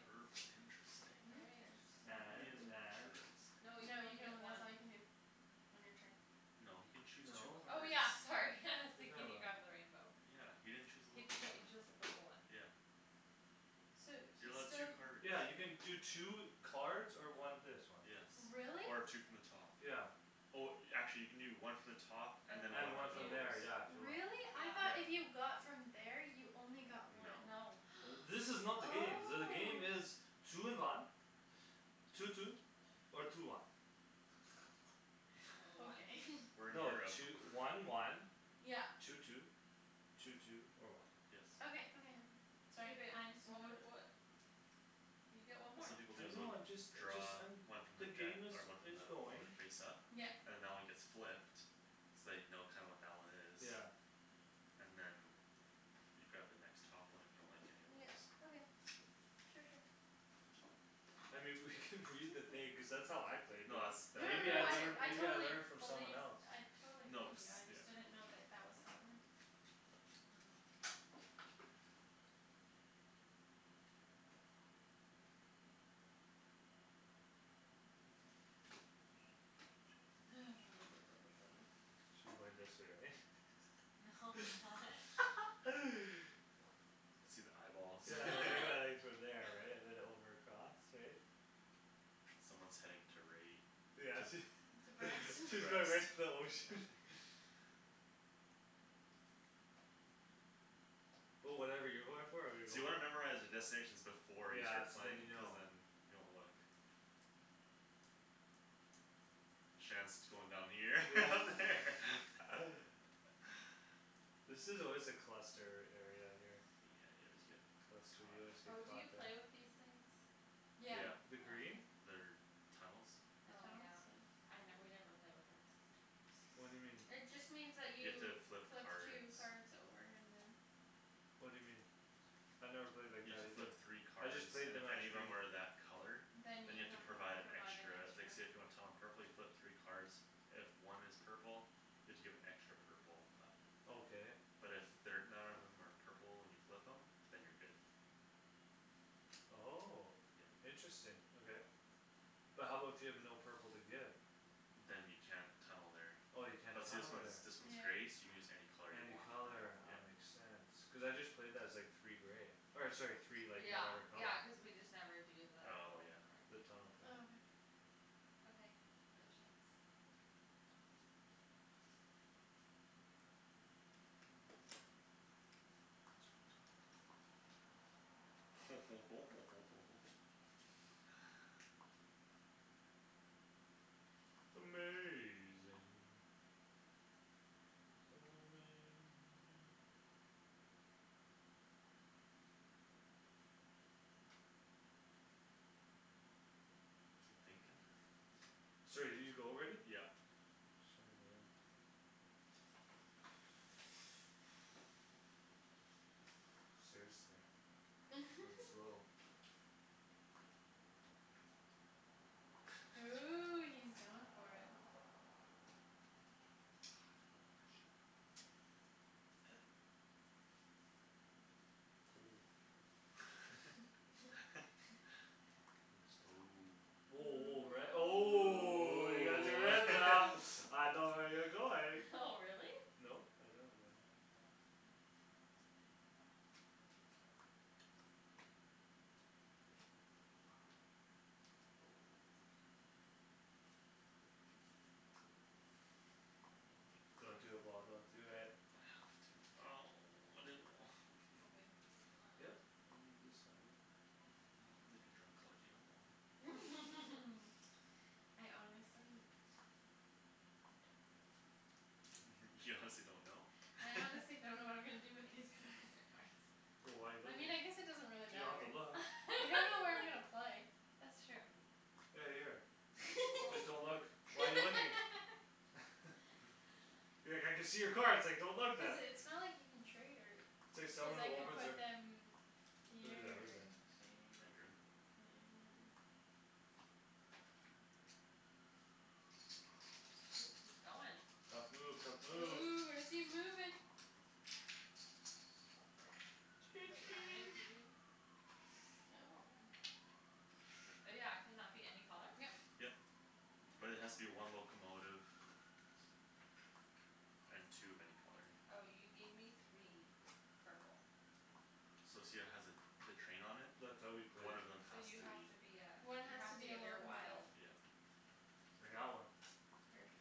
purple interesting interesting and and no no interesting you can you only can get only that's one all you can do on your turn no he can choose two no oh cards yeah sorry what you see talking can you about grab the rainbow yeah he didn't chose a He cho- he locomotive chose the purple one yeah so he's you're still allowed two cards yeah you can do two cards or one this one yes really? or two from the top yeah oh actually you can do one from the top and and than one and one one from from from those here there yeah if you want really? I though if yeah yeah you got from there you only got no one no uh this is not the game the oh game is two in one two two or two one or one okay we're in no Europe two- one one yeah two two two two or one yes okay okay okay hey sorry babe I just didn't what know wou- what you get one what more some people do I is they'll know I'm just a just draw I'm one from the the deck game is or one from is the one going the face up yep and that one gets flipped so you know kinda what that one is yeah and then you grab the next top one if you don't like any of yeah those okay sure sure I mean we could read the thing cuz that's how I played it no that's no that i- maybe no I no that I is learn I maybe how I totally believe I learned from someone else totally no believe cuz you I yeah just didn't know that that was how it works um hang on ha should be going this way right? no why see the eyeballs yeah there you go from there right and then over across right someone's heading to right yeah to she she's going right to the ocean but whatever you're going for I'm gonna so go you wanna memorize for the destinations before you yeah start so then playing you cuz know then you don't look Shands going down here yeah over there this is always a cluster area here yeah you always get cluster caught you always up get oh do caught you there play with these things? the yeah yeah the oh green okay they're tunnels the oh yeah tunnels yeah I we never play with them cuz it's too time what'd you mean consuming it just means that you have you to flip flip cards two card over and then what'd you mean I never played like you have that to either flip three I cards just played and them if as any of green them are that color then you than you have have to to provide provide an extra like an say extra if you want Tom a purple you flip three cards if one is purple you have to give an extra purple up okay but if they're none of them are purple and you flip them than you're good oh yeah interesting okay but how about if you have no purple to give than you can't tunnel there oh you can't but see this tunnel one's there this one's yeah gray so you can use any color you any want color yeah ah makes sense cuz I just played that as like three gray or sorry three like yeah whatever color yeah cuz we just never do the oh whole yeah card the thing tunnel thing oh okay okay go Shands um lets go on top ho ho ho ho ho ho ho amazing so amazing you thinking sorry did you go already yeah sorry man seriously I'm slow ooh he's going for it I don't know if I should or not clear your throat oh woah woah red oh oh ooh I know where you're going oh really no I don't actually don't do it Paul don't do it I have to oh I didn't wa- go babe yup I'm deciding what happens if you draw colors you don't want I honestly don't know you honestly don't know I honestly don't know what I'm gonna do I can with these see all cards your card wh- why you looking you don't have to look you don't know where I'm gonna play that's true hey here fo- just don't look why you looking be like I can see your cards like don't look cuz then it's not like you can trade her it's like cuz someone who I can opens put their no them who's here that or who's that there I drew or there shoot he's going tough move tough move ooh where's he moving right choo here wait how many choo do you oh yeah can that be any color yep yep but it has to be one locomotive and two of any color oh you gave me three purple So see how it has a the train on it that's how we play one of them so has you to have be to be ah one you has to have to be a give your locomotive wild yeah like that one perfect